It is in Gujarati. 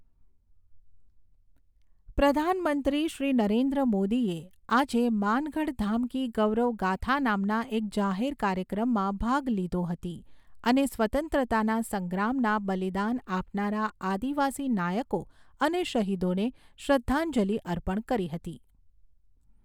પ્રધાનમંત્રી શ્રી નરેન્દ્ર મોદીએ આજે માનગઢધામ કી ગૌરવ ગાથા નામના એક જાહેર કાર્યક્રમમાં ભાગ લીધો હતો અને સ્વતંત્રતાના સંગ્રામના બલિદાન આપનારા આદિવાસી નાયકો અને શહીદોને શ્રદ્ધાંજલિ અર્પણ કરી હતી.